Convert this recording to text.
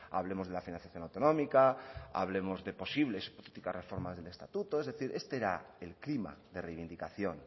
hablemos de la financiación autonómica hablemos de posibles hipotéticas reformas del estatuto es decir este era el clima de reivindicación